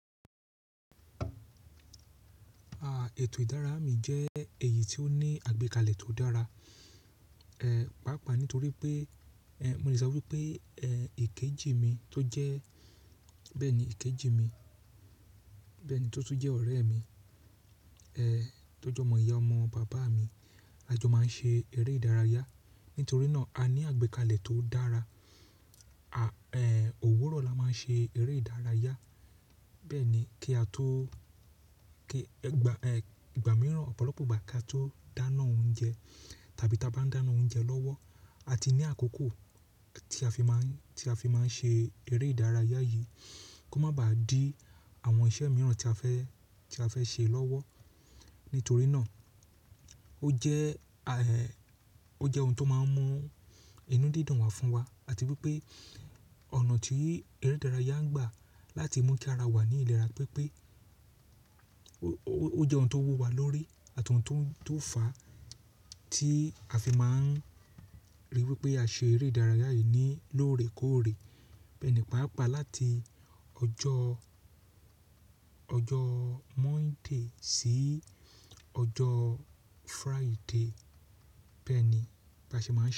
À, ètò ìdárayá mi jẹ́ èyí tí ó ní àgbékalẹ̀ tó dára. Ẹ̀, pàápàá nítorí pé, ẹ̀, mo lè sọ wípé, ẹ̀, ìkejì mi tó jẹ́, bẹ́ẹ̀ ni ìkejì mi, bẹ́ẹ̀ ni tó tún jẹ́ ọ̀rẹ́ mi, ẹ̀, tó jẹ́ ọmọ-ìyá ọmọ bàbá mi, a jọ máa ń ṣe eré ìdárayá. Nítorí náà a ní àgbékalẹ̀ tó dára. Ẹ, òwúrọ̀ la máa ṣe eré ìdárayá, bẹ́ẹ̀ ni kí a tó, kí, ẹ̀, ìgbà, ẹ̀, ìgbà mìíràn, ọ̀pọ̀lọpọ̀ ìgbà kí a tó dáná oúnjẹ tàbí táa bá ń dáná oúnjẹ lọ́wọ́. A ti ní àkókò tí a fi máa ń, tí a fi máa ń ṣe eré ìdárayá yìí kó má ba à dí àwọn iṣẹ́ mìíràn tí a fẹ́, tí a fẹ́ ṣe lọ́wọ́. Nítorí náà ó jẹ́,-- ẹ ó jẹ́ ohun tó máa ń mú inú dídùn wá fún wa àti wípé ọ̀nà tí eré ìdárayá ń gbà láti mú kí ara wa ní ìlera pé pé ó-- ó, ó jẹ́ ohun tó wu wa lórí àti ohun tó ń --tó ń fà á tí a fi máa ń ríi wípé a ṣe eré ìdárayá yìí ní lóòrèkóòrè. Bẹ́ẹ̀ ni, pàápàá láti ọjọ́ --ọjọ́ Monday sí ọjọ́ Friday. Bẹ́ẹ̀ bi a ṣe máa ń ṣe.